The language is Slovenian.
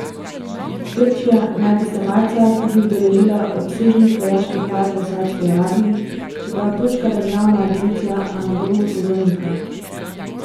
Turčija naj bi se marca tudi udeležila obsežnih vojaških vaj v Savdski Arabiji, čeprav turška državna agencija Anadolu to zanika.